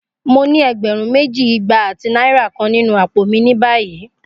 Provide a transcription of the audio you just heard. Mo ni ẹgbẹrun meji, igba ati naira kan ninu apo mi ni bayi.